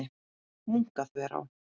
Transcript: Munkaþverá